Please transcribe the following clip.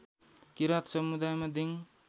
किराँत समुदायमा दिङ